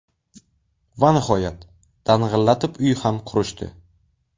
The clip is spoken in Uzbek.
Va nihoyat, dang‘illatib uy ham qurishdi.